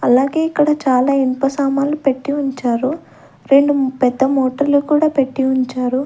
అలాగే ఇక్కడ చాలా ఇన్ప సామాన్లు పెట్టి ఉంచారు రెండు పెద్ద మోటర్లు కూడా పెట్టి ఉంచారు.